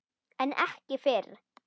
En ekki fyrr.